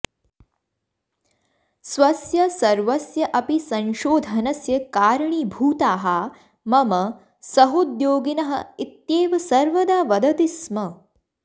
स्वस्य सर्वस्य अपि संशोधनस्य कारणीभूताः मम सहोद्योगिनः इत्येव सर्वदा वदति स्म